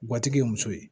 ye muso ye